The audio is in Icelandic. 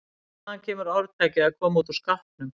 Hvaðan kemur orðtakið að koma út úr skápnum?